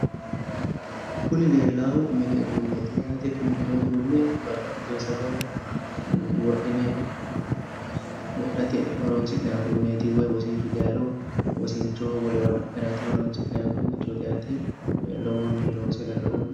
kuni leellaahu mini uduunneeti yaate kuni mini uduunni babbaxitino sagale wodhine wodhate horonsi'neemmo uduunneeti woy wosinchu dayiiro wosinchohono wolewano adhine harate horonsi'nanni uduunnichooti yaate lowontanni loose galino yaate